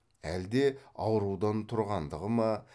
әлде аурудан тұрғандығы ма